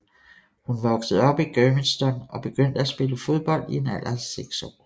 Hun voksede op i Germiston og begyndte at spille fodbold i en alder af 6 år